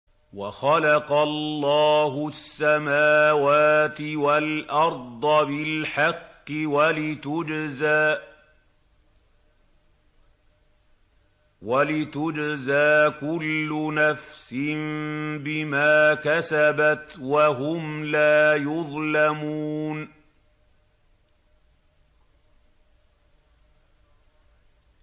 وَخَلَقَ اللَّهُ السَّمَاوَاتِ وَالْأَرْضَ بِالْحَقِّ وَلِتُجْزَىٰ كُلُّ نَفْسٍ بِمَا كَسَبَتْ وَهُمْ لَا يُظْلَمُونَ